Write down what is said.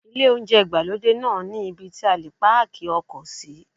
Ilé oúnjẹ ìgbàlódé náà ní ibí tí a lè páàkì ọkọ̀ sí.